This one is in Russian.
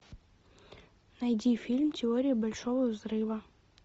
найди фильм теория большого взрыва